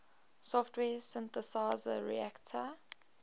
software synthesizer reaktor